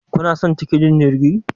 kuna son tikitin jirgi?